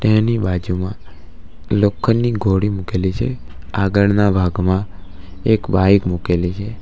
એની બાજુમાં લોખંડની ગોળી મૂકેલી છે આગળના ભાગમાં એક બાઇક મૂકેલી છે.